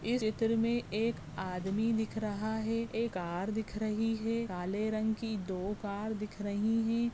इस चित्र मे एक आदमी दिख रहा एक कार दिख रही हे काले रंग की दो कार दिख रही है।